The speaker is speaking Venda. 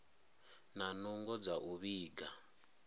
na nungo dza u vhiga